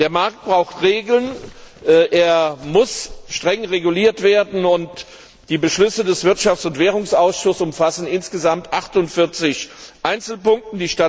Der Markt braucht Regeln, er muss streng reguliert werden, und die Beschlüsse des Wirtschafts und Währungsausschusses umfassen insgesamt 48 Einzelpunkte.